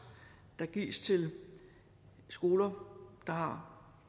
der gives til skoler der har